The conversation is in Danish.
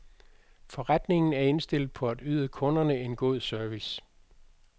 Forretningen er indstillet på at yde kunderne en god service.